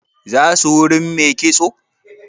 Za su wurin mai kitso?